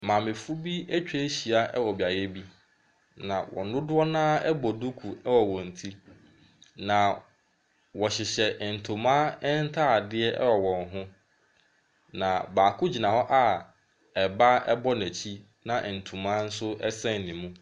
Maamefo bi atwa ahyia wɔ beaeɛ bi, na wɔn dodoɔ no ara bɔ duku wɔ wɔn ti, na wɔhyehyɛ ntoma ntadeɛ wɔ wɔn ho, na baako gyina hɔ a ba bɔ n'akyi, na nto nso sɛn ne mu.